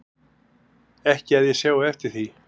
Ekki að ég sjái eftir því